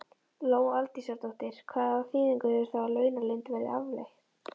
Lóa Aldísardóttir: Hvað þýðingu hefur það að launaleynd verði aflétt?